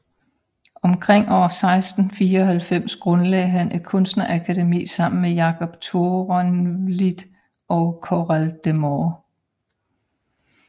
Omkring år 1694 grundlagde han et kunstnerakademi sammen med Jacob Toorenvliet og Carel de Moor